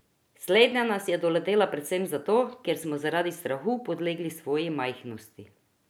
Slednja nas je doletela predvsem zato, ker smo zaradi strahu podlegli svoji majhnosti.